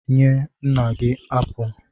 Nye nna gị apụl!